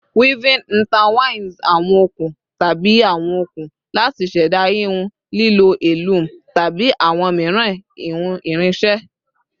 Weaving intertwines awon okun tabi awọn okun lati ṣẹda hihun lilo a loom tabi awọn miiran hihun irinṣẹ